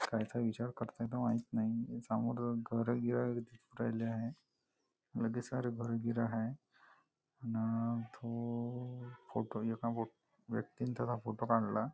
काय काय विचार करत आहेत माहीत नाही समोर घरं गिरं दिसू राहिले आहे लगेच सारे घरं गिरं हाय अन तो फोटो एका व्यक्तींचा त्याचा फोटो काढला.